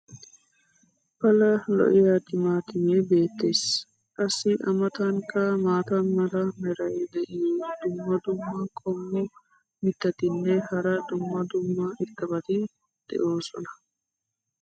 pala lo'iyaa timaatimee beetees. qassi a matankka maata mala meray diyo dumma dumma qommo mitattinne hara dumma dumma irxxabati de'oosona.